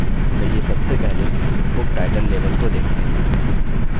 चलिए सबसे पहले book title label को देखते हैं